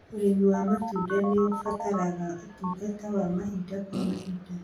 Urĩmi wa matunda nĩ ũbataraga ũtungata wa mahinda kwa mahinda.